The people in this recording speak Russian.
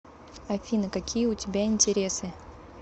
афина какие у тебя интересы